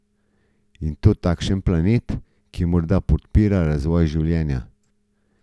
In to takšen planet, ki morda podpira razvoj življenja.